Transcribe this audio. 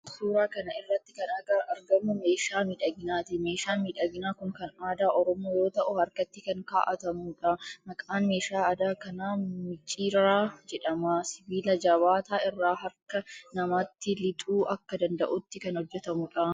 Suuraa kana irratti kan argamu meeshaa miidhaginaati. Meeshaan miidhaginaa kun kan aadaa Oromoo yoo ta'u harkatti kan kaa'atamuudha. Maqaan meeshaa aadaa kanaa micciirraa jedhama. Sibiila jabaataa irraa harka namaatti lixuu akka danda'utti kan hojjetamuudha.